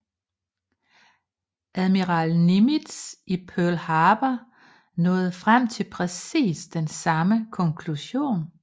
Admiral Nimitz i Pearl Harbor nåede frem til præcis den samme konklusion